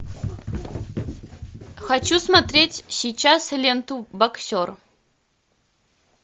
хочу смотреть сейчас ленту боксер